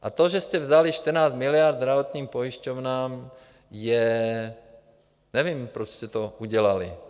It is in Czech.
A to, že jste vzali 14 miliard zdravotním pojišťovnám, je... nevím, proč jste to udělali.